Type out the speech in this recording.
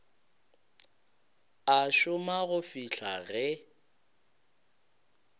a šoma go fihla ge